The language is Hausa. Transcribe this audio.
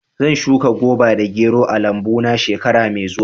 Zan shuka goba da gero a lambu na shekara mai zuwa.